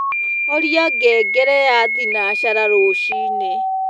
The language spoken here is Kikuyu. horĩa ngengere ya thĩnacara rũcĩĩnĩ